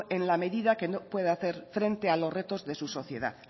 en la medida que no pueda hacer frente a los retos de su sociedad